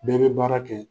Bɛɛ bɛ baara kɛ